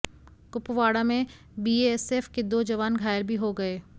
कुपवाड़ा में बीएएसएफ के दो जवान घायल भी हो गए